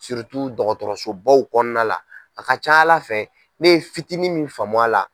dɔgɔtɔrɔsobaw kɔnɔna la a ka ca Ala fɛ ne ye fitini min faamu a la.